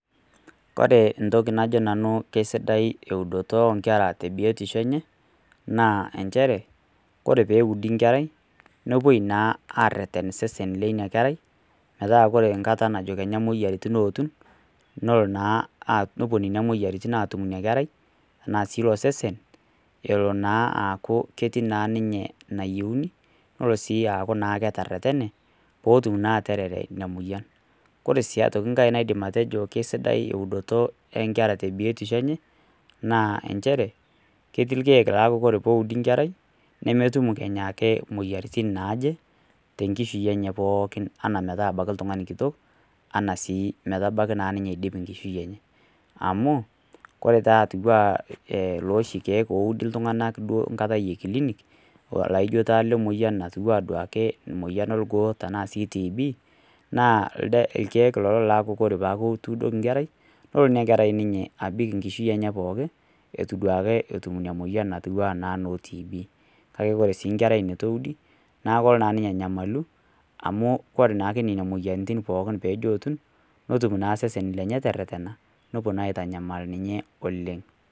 koree entoki nanu kesidai eudoto oo nkere tebiotisho enye naa inchere koree pee eudi enkerai nepuo naa arereten isesen lina kerai metaa ore enkata najo kenya imoyiaritin ayetu nelo naa nepuo nena moyiaritin aaatum ina kerai enaa sii ilo sesen elo naa aku ketii naa ninye nayieuni nelo sii aaku naa keraretene peetum naa atara ina moyian koree sii enkae naidim atejo kesidai eudoto oo nkera tee biotisho enye naa inchere ketii irkiek lolo aa peudi enkerai nemetum kenya ake imoyiaritin naaje tenkishui enye pookin enaa metabaiki oltung'ani kitok enaa sii metabaiki naa ninye aidip enkishui enye amuu ore taa atiu enaa iloshi kiek oudi iltung'anak te kilinik laio taa ile moyian natupukuo aduaki emoyian orgoo tena tibii naa irkiek lelo laku ore peyaku ituudoko enkerai nelo ina keri ninye abik enkishui enye pookin ituduake eitu etum ina moyian naatiu naa ena noo tibii kake ore naa enkerei nitu eudi naa kelo naa ake ninye anyamalu amu koree naa ake nena moyiaritin pookin peeji ootu netum naa sesen lenye tererena nepuo naa aitanyamal ninye oleng'.